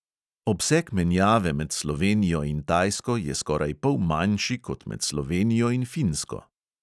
Obseg menjave med slovenijo in tajsko je skoraj pol manjši kot med slovenijo in finsko.